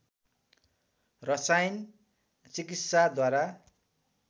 रसायन चिकित्साद्वारा